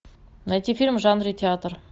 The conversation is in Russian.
найти фильм в жанре театр